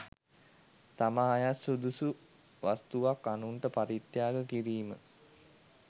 තමා අයත් සුදුසු වස්තුවක් අනුන්ට පරිත්‍යාග කිරීම